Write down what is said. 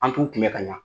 An t'u kunbɛ ka ɲa